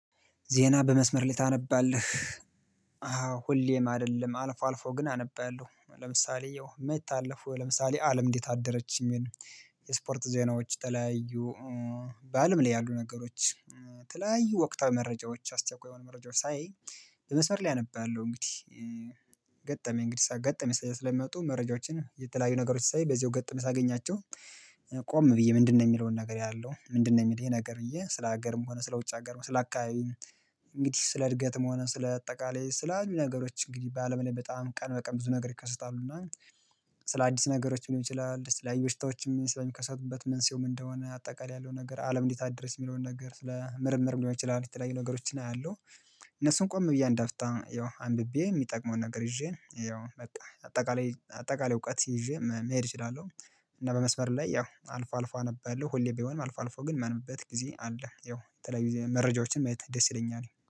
ዜና በመስመር ታነባለህ? አዎ ሁሌም አይደለም አልፎ አልፎ ግን አነበያለሁ ለምሳሌ ያው የማይታለፉ ለምሳሌ አለም እንዴት አደረችኝ። የስፖርት ዜናዎች የተለያዩ በአለም ላይ ያሉ ነገሮች ተለያዩ ወቅታዊ መረጃዎች አስቸኳይ የሆነ መረጃዎች ሳይ የመስመር ላይ አነባለሁ እንግዲህ። ገጠመኝ እንግዲህ ገጠመኝ ስለሚመጡ መረጃዎችን የተለያዩ ነገሮች ሳይ በዚህ ገጠመኝ ሳገኛቸው። ቆም ብዬ ምንድነው የሚለውን ነገር አያለው ምንድነው የሚል ይሄ ነገር ብዬ ስለ ሀገርም ሆነ ስለ ውጭ ሀገርም ሆነ ስለ አካባቢ እንግዲህ ስለ እድገትም ሆነ ስለ አጠቃላይ ስለ አዲስ ነገሮች እንግዲህ በአለም ላይ በጣም ቀን በቀን ብዙ ነገር ይከሰታሉ እና ስለ አዲስ ነገሮች ሊሆን ይችላል ስለ አዩበሽታዎችም ስለሚከሰቱበት መንስኤው ምን እንደሆነ አጠቃላይ ያለው ነገር አለም እንዴት አደረች የሚለውን ነገር ስለ ምርምር ሊሆን ይችላል የተለያዩ ነገሮችን አያለሁ። እነሱን ቆም ብዬ አንዳፍታ ያው አንብቤ የሚጠቅመውን ነገር ይዤ ያው በቃ አጠቃላይ አጠቃላይ እውቀት ይዤ መሄድ እችላለሁ። እና በመስመር ላይ ያው አልፎ አልፎ አነባለሁ ሁሌ ባይሆንም አልፎ አልፎ ግን ማንብበት ጊዜ አለ ያው የተለያዩ መረጃዎችን ማየት ደስ ይለኛል